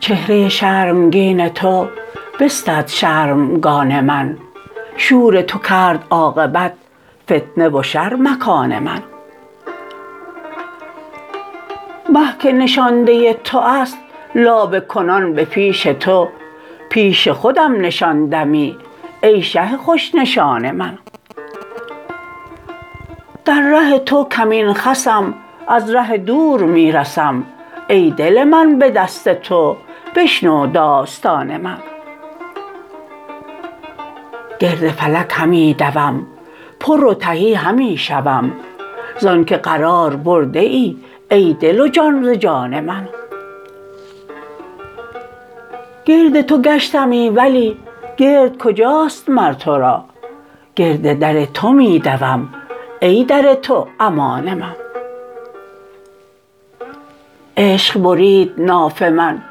چهره شرمگین تو بستد شرمگان من شور تو کرد عاقبت فتنه و شر مکان من مه که نشانده تو است لابه کنان به پیش تو پیش خودم نشان دمی ای شه خوش نشان من در ره تو کمین خسم از ره دور می رسم ای دل من به دست تو بشنو داستان من گرد فلک همی دوم پر و تهی همی شوم زانک قرار برده ای ای دل و جان ز جان من گرد تو گشتمی ولی گرد کجاست مر تو را گرد در تو می دوم ای در تو امان من عشق برید ناف من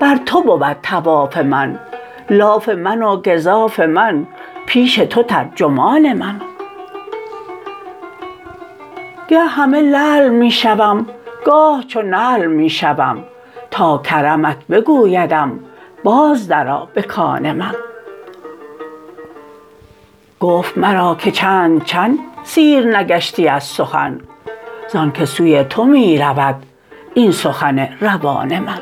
بر تو بود طواف من لاف من و گزاف من پیش تو ترجمان من گه همه لعل می شوم گاه چو نعل می شوم تا کرمت بگویدم باز درآ به کان من گفت مرا که چند چند سیر نگشتی از سخن زانک سوی تو می رود این سخن روان من